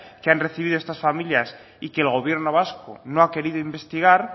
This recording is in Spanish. que han recibido estas familias y que el gobierno vasco no ha querido investigar